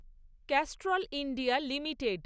Castrol India limited